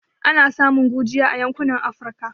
Ana samun gurjiya a yankunan Afirka